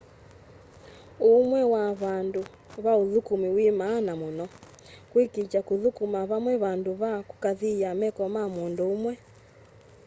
uũmwe wa vandũ va ũthũkũmĩ wĩ maana mũno kũĩkĩĩtya kũthũkũma vame vandũ va kũkaathĩa meko ma mũndũ ũmwe